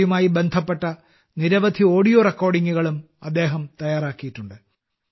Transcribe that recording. അവയുമായി ബന്ധപ്പെട്ട നിരവധി ഓഡിയോ റെക്കോർഡിംഗുകളും അദ്ദേഹം തയ്യാറാക്കിയിട്ടുണ്ട്